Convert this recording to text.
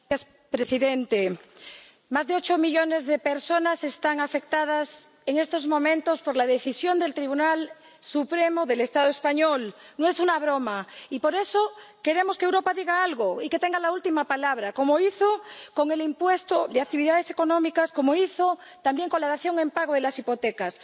Señor presidente, más de ocho millones de personas están afectadas en estos momentos por la decisión del Tribunal Supremo del Estado español —no es una broma—, y por eso queremos que Europa diga algo y que tenga la última palabra, como hizo con el impuesto de actividades económicas, como hizo también con la dación en pago de las hipotecas.